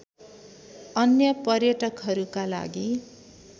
अन्य पर्यटकहरूका लागि